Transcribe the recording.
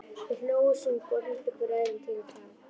Þeir hlógu, sungu og hrintu hver öðrum til og frá.